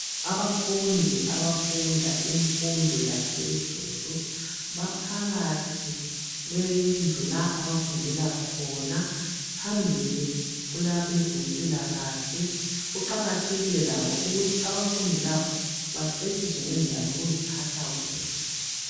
Abafundi abafunda imfundo yaphezulu baphakathi kwendlu la abafundela khona phambili kulabezempilakahle kuqakathekile ukuthi abafundi laba bacetshiswe ngendlela zokuziphatha kuhle